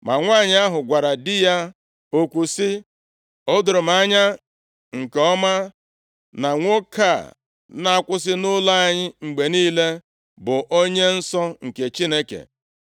Ma nwanyị ahụ gwara di ya okwu sị, “O doro m anya nke ọma na nwoke a na-akwụsị nʼụlọ anyị mgbe niile bụ onye nsọ nke Chineke.